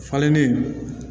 Falennen